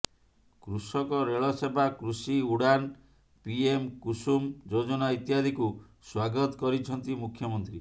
କୃଷକ ରେଳ ସେବା କୃଷି ଉଡ଼ାନ ପିଏମ କୁସୁମ ଯୋଜନା ଇତ୍ୟାଦିକୁ ସ୍ୱାଗତ କରିଛନ୍ତି ମୁଖ୍ୟମନ୍ତ୍ରୀ